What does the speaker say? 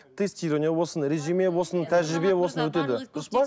тестирование болсын резюме болсын тәжірбие болсын өтеді дұрыс па